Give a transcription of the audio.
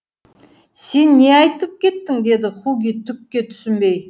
сен не айтып кеттің деді хуги түкке түсінбей